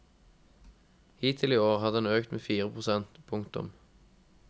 Hittil i år har den økt med fire prosent. punktum